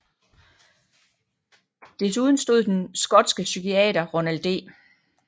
Desuden stod den skotske psykiater Ronald D